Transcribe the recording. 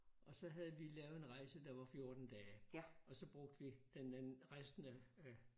Og så havde vi lavet en rejse der var 14 dage og så brugte vi den anden resten af af